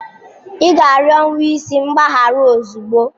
Ị ga-arịọ nwa isi mgbaghara ozugbo!